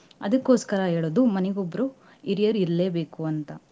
ಅದ್ಕೊಸ್ಕರ ಹೇಳೋದು ಮನೆಗೊಬ್ರು ಹಿರಿಯರ್ ಇರ್ಲೇಬೇಕು ಅಂತ.